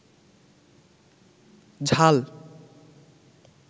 ঝাল